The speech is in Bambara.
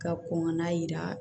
Ka kɔn ka na yira